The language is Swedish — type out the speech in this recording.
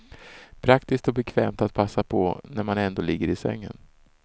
Praktiskt och bekvämt att passa på när man ändå ligger i sängen.